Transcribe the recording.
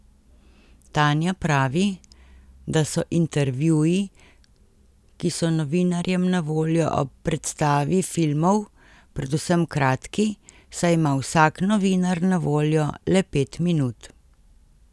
Tanja pravi, da so intervjuji, ki so novinarjem na voljo ob predstavi filmov, predvsem kratki, saj ima vsak novinar na voljo le pet minut.